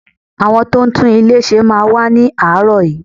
Àwọn tó ń tún ilé ṣe máa wá ni aarọ yìí.